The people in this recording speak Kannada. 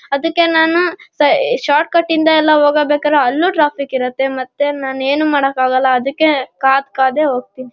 ಅದಕ್ಕೆ ನಾನಕ್ ಸ ಏ ಶಾರ್ಟ್ಕಟ್ ಇಂದ ಎಲ್ಲ ಓಗಬೇಕರೆ ಅಲ್ಲೂ ಟ್ರಾಫಿಕ್ ಇರುತ್ತೆ ಮತ್ತೆ ನಾನೇನೂ ಮಾಡಕ್ಕಾಗಲ್ಲ ಅದಕೆ ಕಾದ್ ಕಾದೆ ಹೋಗತೀನಿ --